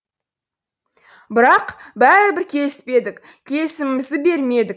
бірақ бәрібір келіспедік келісімімізді бермедік